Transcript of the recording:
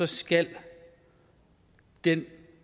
skal den